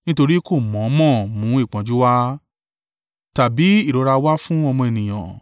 Nítorí kò mọ̀ ọ́n mọ̀ mú ìpọ́njú wá tàbí ìrora wá fún ọmọ ènìyàn.